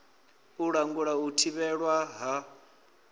u langula u thivhelwa ha